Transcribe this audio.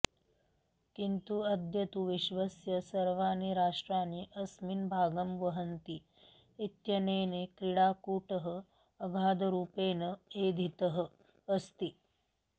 किन्तु अद्य तु विश्वस्य सर्वाणि राष्ट्राणि अस्मिन् भागं वहन्ति इत्यनेन क्रीडाकूटः अगाधरूपेण एधितः अस्ति